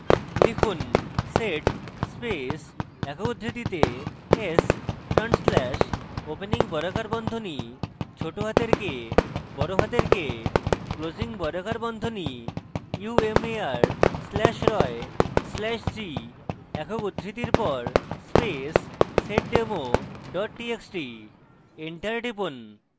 লিখুন: sed space একক উদ্ধৃতিতে s front slash opening বর্গাকার বন্ধনী ছোটহাতের k বড়হাতের k closing বর্গাকার বন্ধনী umar slash roy slash g একক উদ্ধৃতির পর space seddemo txt txt enter টিপুন